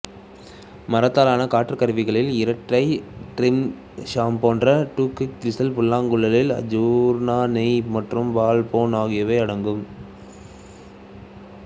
மரத்தாலானா காற்றுக்கருவிகளில் இரட்டைரீட் ஷாம் போன்ற டுடெக் விசில் புல்லாங்குழல் ஜூர்னா நெய் மற்றும் பாலாபன் ஆகியவை அடங்கும்